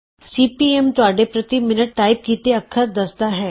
ਸੀ P M ਤੁਹਾਡੇ ਪ੍ਰਤੀ minute type ਕੀਤੇ ਅੱਖਰ ਦੱਸਦਾ ਹੈ